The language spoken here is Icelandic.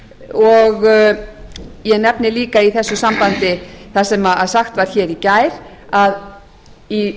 og ég nefni líka í þessu sambandi það sem sagt var í gær að í